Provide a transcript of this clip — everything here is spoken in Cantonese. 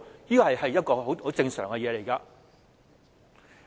這是一個很正常的情況。